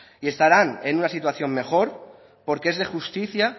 y estarán en una situación mejor porque es de justicia